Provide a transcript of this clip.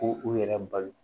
Ko u yɛrɛ balo